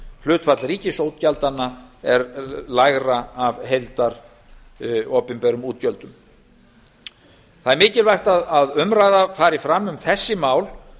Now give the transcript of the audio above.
hlutfall ríkisútgjaldanna er lægra af opinberum heildarútgjöldum það er mikilvægt að umræða fari fram um þessi mál